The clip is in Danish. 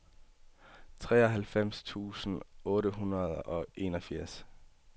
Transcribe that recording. treoghalvfems tusind otte hundrede og enogfirs